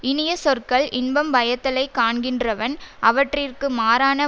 இனிய சொற்கள் இன்பம் பயத்தலைக் காண்கின்றவன் அவற்றிற்கு மாறான